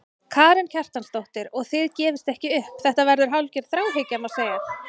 Karen Kjartansdóttir: Og þið gefist ekki upp, þetta verður hálfgerð þráhyggja, má segja?